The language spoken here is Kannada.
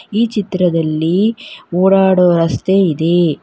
ಈ ಚಿತ್ರದಲ್ಲಿ ಓಡಾಡೊ ರಸ್ತೆ ಇದೆ.